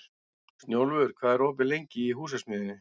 Snjólfur, hvað er opið lengi í Húsasmiðjunni?